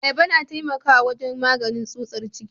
Ayaba tana taimakawa wajen maganin tsutsar ciki.